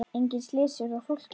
Engin slys urðu á fólki.